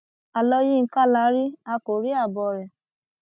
àlọ yinka la rí a kò rí àbọ rẹ